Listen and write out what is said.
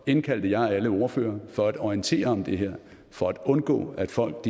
indkaldte jeg alle ordførerne for at orientere om det her for at undgå at folk